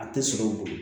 A tɛ sɔrɔ o bolo